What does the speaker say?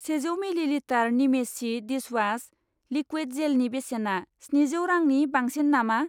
सेजौ मिलिलिटार निमेसि dishwash liquid जेलनि बेसेना स्निजौ रांनि बांसिन नामा?